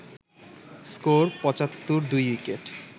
score ৭৫/২